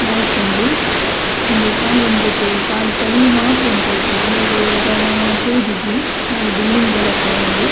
ಲಾಯ್ಕ್ ಉಂಡು ಉಂದು ಕಾಲಿ ಉಂದೆಟ್ ಕಾಲಿ ಕಲ್ಲ್ ಮಾತ್ರ ಅಂದ್ ತೋಜುಂಡು ಉಲಾಯಿಡ್ ದಾಲ ತೋಜುಜಿ ಕಾಲಿ ಬಿಲ್ಡಿಂಗ್ ದ ಲಕ್ಕ ಉಂಡು.